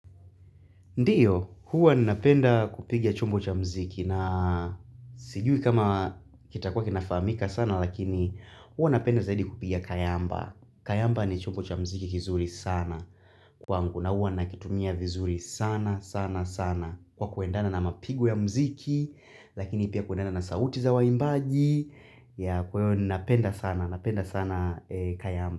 Ndiyo, huwa ninapenda kupiga chumbo cha mziki na sijui kama kitakuwa kinafamika sana lakini huwa nina penda zaidi kupiga kayamba. Kayamba ni chumbo cha mziki kizuri sana kwangu na huwa nakitumia vizuri sana sana sana kwa kuendana na mapigu ya mziki lakini pia kuendana na sauti za wa imbaji ya kwa hiyo nina penda sana kayamba.